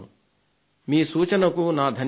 మీ సూచనకు నా ధన్యవాదాలు